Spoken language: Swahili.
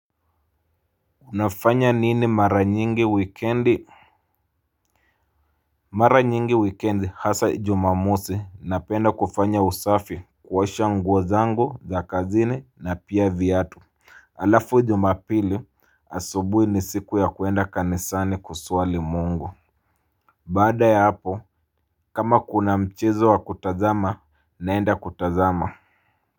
Unafanya nini mara nyingi wikendi. Mara nyingi wikendi hasa jumamosi napenda kufanya usafi. Kuosha nguo zangu za kazini na pia viatu. Alafu jumapili asubuhi ni siku ya kuenda kanisani kuswali mungu. Baada ya hapo kama kuna mchezo wa kutazama naenda kutazama.